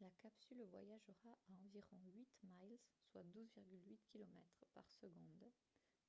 la capsule voyagera à environ 8 miles soit 12,8 km par seconde